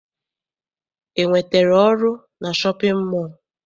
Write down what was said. I nwetere ọrụ na shọpịn mọọ?